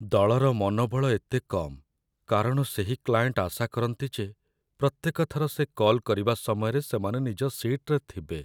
ଦଳର ମନୋବଳ ଏତେ କମ୍ କାରଣ ସେହି କ୍ଲାଏଣ୍ଟ ଆଶା କରନ୍ତି ଯେ ପ୍ରତ୍ୟେକ ଥର ସେ କଲ୍ କରିବା ସମୟରେ ସେମାନେ ନିଜ ସିଟ୍‌ରେ ଥିବେ